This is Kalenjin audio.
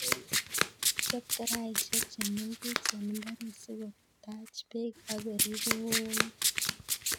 Chop karaishek che meng'ech eng mbaret si ko tach peek ak korip ng'ung'nyek